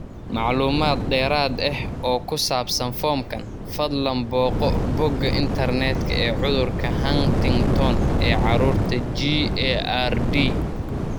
Macluumaad dheeraad ah oo ku saabsan foomkan, fadlan booqo bogga internetka ee cudurka Huntington ee carruurta GARD.